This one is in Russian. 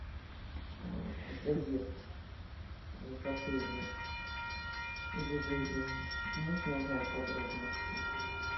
заезд в отеле или выезд можно узнать подробности